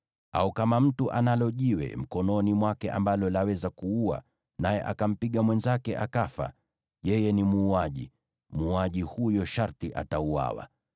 Au kama mtu analo jiwe mkononi mwake ambalo laweza kuua, naye akampiga mwenzake akafa, yeye ni muuaji; muuaji huyo sharti atauawa.